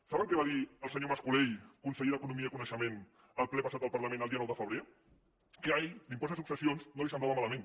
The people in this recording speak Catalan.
saben què va dir el senyor mas colell conseller d’economia i coneixement al ple passat del parlament el dia nou de febrer que a ell l’impost de successions no li semblava malament